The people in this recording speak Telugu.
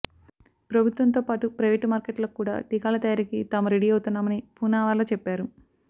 ప్రభుత్వంతో పాటు ప్రైవేటు మార్కెట్లకు కూడా టీకాల తయారీకి తాము రెడీ అవుతున్నామని పూనావాలా చెప్పారు